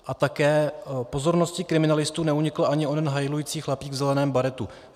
A také pozornosti kriminalistů neunikl ani ten hajlující chlapík v zeleném baretu.